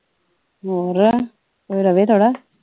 ਹੋਰ ਕੋਈ ਰਵੇ ਥੋੜ੍ਹਾ